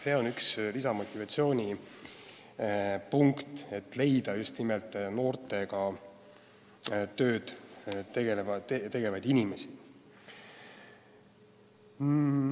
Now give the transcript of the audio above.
See on üks võimalus lisada motivatsiooni noortega tegelemiseks.